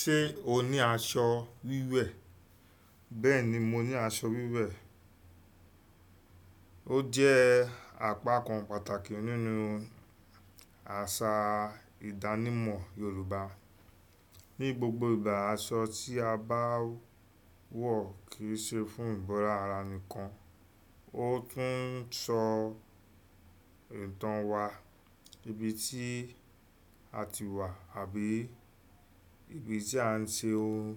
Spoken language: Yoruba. Ṣé o ní aṣọ wíwẹ̀? Bẹ́ẹ̀ni mo ní aṣọ wíwẹ̀. Ó jẹ́ àpakàn pàtàkì nínú àṣà ìdánimọ̀ Yorùbá. Ní gbogbo ìgbà, aṣọ tí a bá ń wọ̀ kì í ṣe fún ìbora ara nìkan, ó tún ń sọ ìtàn wa, ibi tí a ti wà àbí ibi tí à ń ṣe ohun